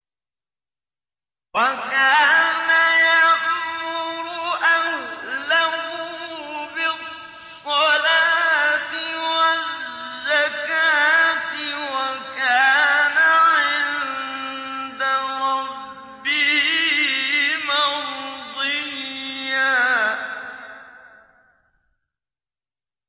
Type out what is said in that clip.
وَكَانَ يَأْمُرُ أَهْلَهُ بِالصَّلَاةِ وَالزَّكَاةِ وَكَانَ عِندَ رَبِّهِ مَرْضِيًّا